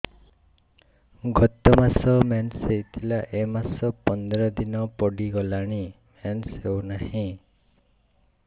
ଗତ ମାସ ମେନ୍ସ ହେଇଥିଲା ଏ ମାସ ପନ୍ଦର ଦିନ ଗଡିଗଲାଣି ମେନ୍ସ ହେଉନାହିଁ